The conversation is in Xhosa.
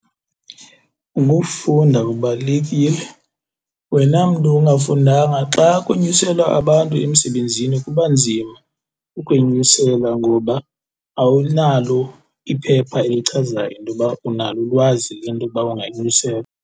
Ukufunda kubalulekile. Wena mntu ungafundanga xa kunyuselwa abantu emsebenzini kuba nzima ukwenyuselwa ngoba awunalo iphepha elichazayo into yoba unalo ulwazi lento yoba unganyuselwa.